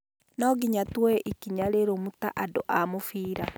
Nonginya tuoe ikinya rĩrũmu ta andũ a mũbira